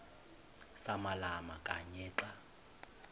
samalama kanye xa